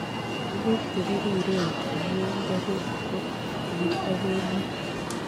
Tuguk che pirireen che mi ngeguut ko kikichoben nee